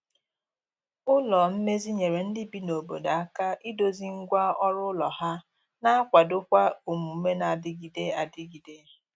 ụlọ mmezi nyere ndi bi na obodo aka ịdozi ngwa ọrụ ụlọ ha na akwado kwa omume na adigide adigide